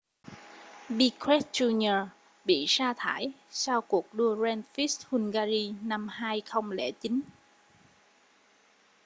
piquet jr bị sa thải sau cuộc đua grand prix hungary năm 2009